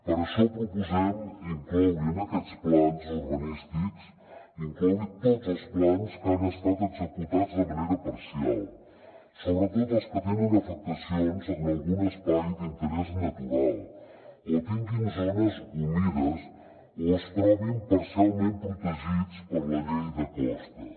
per això proposem incloure en aquests plans urbanístics tots els plans que han estat executats de manera parcial sobretot els que tenen afectacions en algun espai d’interès natural o tinguin zones humides o es trobin parcialment protegits per la llei de costes